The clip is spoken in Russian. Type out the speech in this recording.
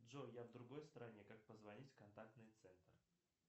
джой я в другой стране как позвонить в контактный центр